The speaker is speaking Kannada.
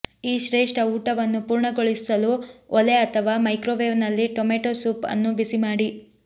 ಈ ಶ್ರೇಷ್ಠ ಊಟವನ್ನು ಪೂರ್ಣಗೊಳಿಸಲು ಒಲೆ ಅಥವಾ ಮೈಕ್ರೊವೇವ್ನಲ್ಲಿ ಟೊಮೆಟೊ ಸೂಪ್ ಅನ್ನು ಬಿಸಿ ಮಾಡಿ